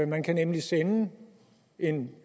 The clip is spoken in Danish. man kan nemlig sende en